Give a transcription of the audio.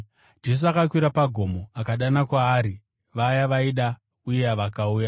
Jesu akakwira pagomo akadana kwaari vaya vaaida, uye vakauya.